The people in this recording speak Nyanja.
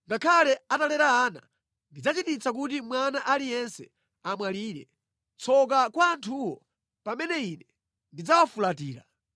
Ngakhale atalera ana ndidzachititsa kuti mwana aliyense amwalire. Tsoka kwa anthuwo pamene Ine ndidzawafulatira!